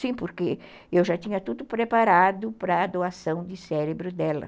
Sim, porque eu já tinha tudo preparado para a doação de cérebro dela.